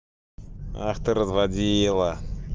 ах ты разводила